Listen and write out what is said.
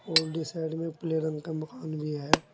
Old side में पीले रंग का मकान भी है।